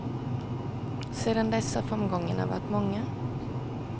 Sedan dess har framgångarna varit många.